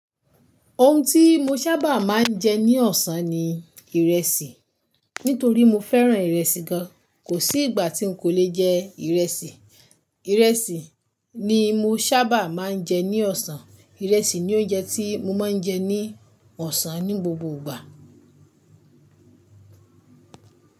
Ohun tí mo sábà máa ń jẹ ní ọ̀sán ni ìrẹsì. Nítorí mo fẹ́ràn ìrẹsì gan. Kò sí ìgbà tí n kò lè jẹ ìrẹsì. Ìrẹsì ni mo sábà máa ń jẹ ní ọ̀sán. Ìrẹsì ni oúnjẹ tí mo máa ń jẹ ní ọ̀sán ní gbogbo ìgbà.